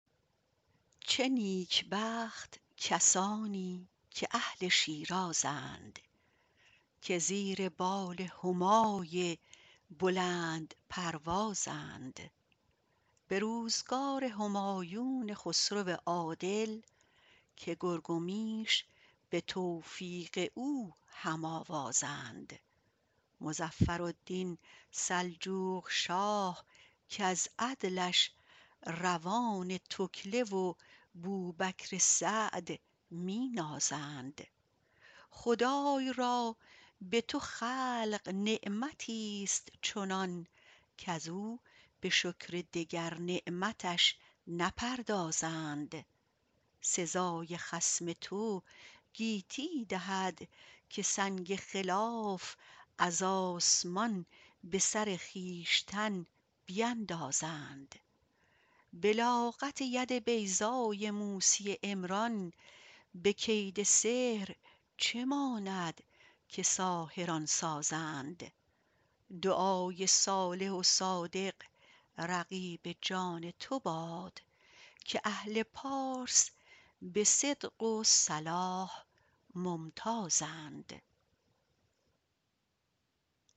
چه نیکبخت کسانی که اهل شیرازند که زیر بال همای بلندپروازند به روزگار همایون خسرو عادل که گرگ و میش به توفیق او هم آوازند مظفرالدین سلجوقشاه کز عدلش روان تکله و بوبکر سعد می نازند خدای را به تو خلق نعمتیست چنان کز او به شکر دگر نعمتش نپردازند سزای خصم تو گیتی دهد که سنگ خلاف از آسمان به سر خویشتن بیندازند بلاغت ید بیضای موسی عمران به کید سحر چه ماند که ساحران سازند دعای صالح و صادق رقیب جان تو باد که اهل پارس به صدق و صلاح ممتازند